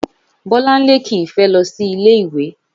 Bólánlé kì í fé lo sí ilé ìwé